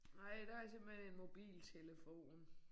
Nej der er simpelthen en mobiltelefon